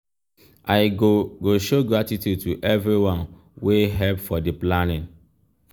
i go go show gratitude to everyone wey help for di planning.